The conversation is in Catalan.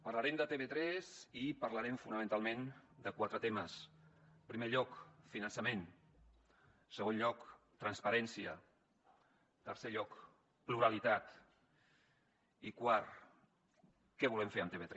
parlarem de tv3 i parlarem fonamentalment de quatre temes en primer lloc finançament en segon lloc transparència en tercer lloc pluralitat i quart què volem fer amb tv3